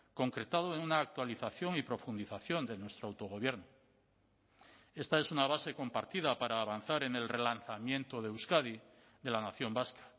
concretado en una actualización y profundización de nuestro autogobierno esta es una base compartida para avanzar en el relanzamiento de euskadi de la nación vasca